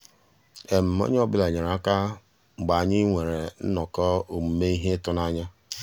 ónyé ọ́ bụ́là nyéré àká mgbeé ànyị́ nwèrè nnọ́kọ́ òmùmé íhé ị́tụ́nányá.